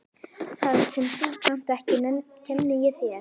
Það sem þú kannt ekki kenni ég þér.